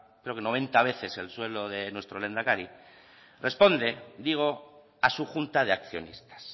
creo que noventa veces el sueldo de nuestro lehendakari responde digo a su junta de accionistas